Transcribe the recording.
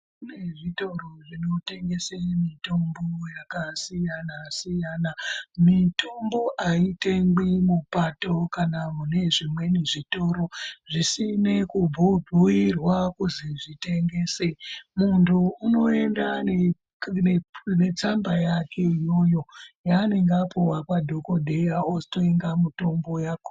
Kune zvitoro zvinotengesa mitombo yakasiyana siyana. Mitombo aitengwi mupato kana mune zvimweni zvitoro zvisina kubhuirwe kuzi zvitengese. Munhu unoenda netsamba yake iyoyo yaanenge anyorerwa nadhokodheya otenga mitombo yakhona.